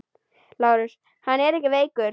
LÁRUS: Hann er ekki veikur!